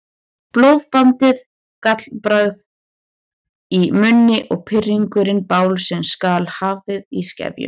Blóðiblandið gallbragð í munni og pirringurinn bál sem skal haldið í skefjum.